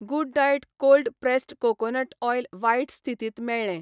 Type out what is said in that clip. Good diet cold pressed coconut oil वायट स्थितींत मेळ्ळें.